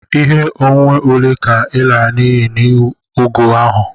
Ihe onwunwe ole ka e lara n'iyi n'ihi ọgụ ahụ?